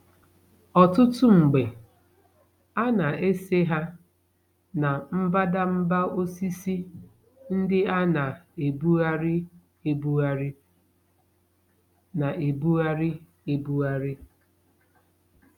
Ọtụtụ mgbe, a na-ese ha na mbadamba osisi ndị a na-ebugharị ebugharị na-ebugharị ebugharị.